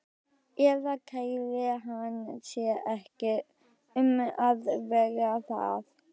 Eða kærði hann sig ekki um að vera það?